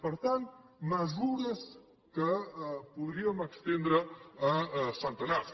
per tant mesures que podríem estendre a centenars